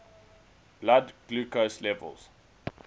blood glucose levels